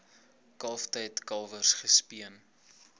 kalftyd kalwers gespeen